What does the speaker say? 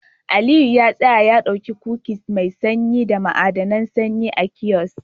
Aliyu ya tsaya ya dauki kukis mai sanyi da ma'adinan sanyi a kiosk